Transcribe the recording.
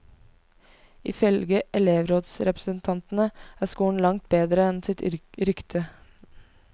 Ifølge elevrådsrepresentantene er skolen langt bedre enn sitt rykte.